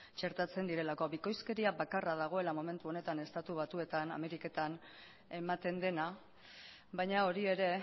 txertatzen direlako bikoizkeria bakarra dagoela momentu honetan estatu batuetan ameriketan ematen dena baina hori ere